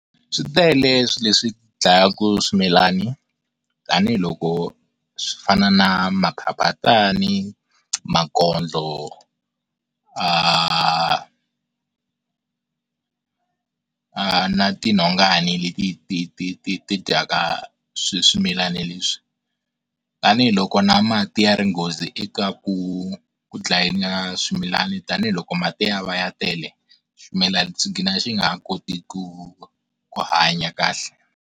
Switele swi leswi dlayaku swimilani tanihiloko swo fana na maphaphatani, makondlo aarg aah, aah na ti nhongani leti ti dyaka swimilani leswi tanihiloko na mati ya ri nghozi eka ku dlaya swimilani tanihiloko mati ya va ya tele swimilana swi gina swi nga ha koti ku ku hanya kahle.